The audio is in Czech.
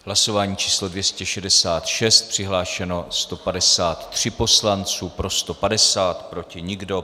Hlasování číslo 266, přihlášeno 153 poslanců, pro 150, proti nikdo.